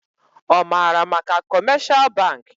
Ọ maara maka kọmeshal bankị